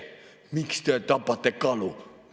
Miks te tapate kalu?